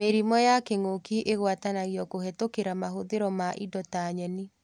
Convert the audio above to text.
Mĩrimũ ya kĩng'ũki ĩgwatanagio kũhetũkĩra mahũthĩro ma indo ta nyeni